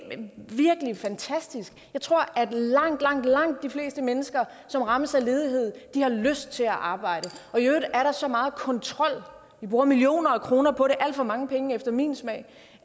virkelig fantastisk jeg tror at langt langt langt de fleste mennesker som rammes af ledighed har lyst til at arbejde og i øvrigt er der så meget kontrol vi bruger millioner af kroner på det alt for mange penge efter min smag